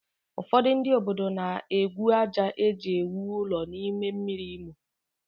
Ụfọdụ ndị obodo na-egwu àjà e ji ewu ụlọ n'ime mmiri Imo